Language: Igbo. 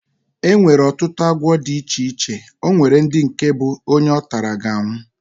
Enwere ọtụtụ agwọ dị iche iche, onwere ndị nke bụ onye ọtara, ga anwụ